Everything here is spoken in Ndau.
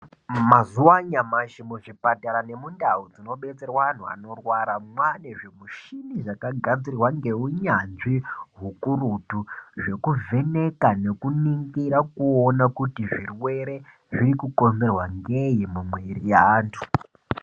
Mazuwa anyamashi muzvipatara nemundau dzinobetserwa anhu anorwara mwane zvimushini zvakagadzirwa ngeunyanzvi hukurutu zvekuvheneka nekuningira kuti zvirwere zviri kukonzerwa ngei mumwiri yeantu.